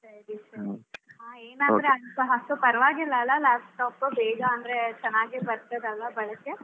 ಸರಿ ಸರಿ ಹಾ ಅಂತ ಪರ್ವಾಗಿಲ್ಲ ಅಲ್ಲ laptop ಬೇಗ ಅಂದ್ರೆ ಚನ್ನಾಗಿ ಬರ್ತದಲ್ಲ ಬಳಕೆ?